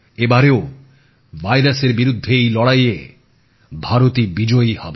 এবারেও ভাইরাসের বিরুদ্ধে এই লড়াইয়ে ভারতই বিজয়ী হবে